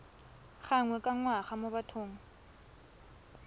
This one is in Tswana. gangwe ka ngwaga mo bathong